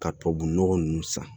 Ka tubabu nɔgɔ nunnu san